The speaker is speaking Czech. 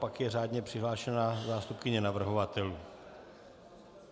Pak je řádně přihlášená zástupkyně navrhovatelů.